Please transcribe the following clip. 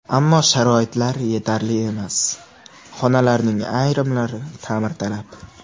Ammo sharoitlar yetarli emas, xonalarning ayrimlari ta’mirtalab.